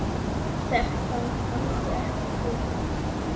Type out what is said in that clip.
Þetta gangi ekki upp.